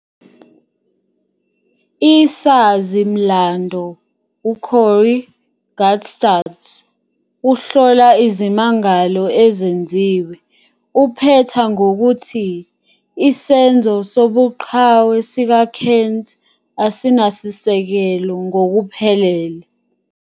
Isazi-mlando uCorry Guttstadt uhlola izimangalo ezenziwe, uphetha ngokuthi "isenzo sobuqhawe sikaKent asinasisekelo ngokuphelele".